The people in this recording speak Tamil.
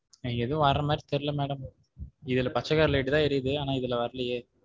எனக்கு எதுவும் வர மாதிரி தெரியல madam இதுல பச்சை colour light தான் ஏறியுது ஆனா இதுல வரலையே.